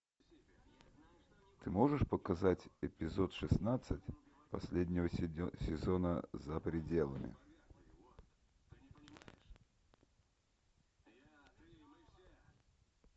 ты можешь показать эпизод шестнадцать последнего сезона за пределами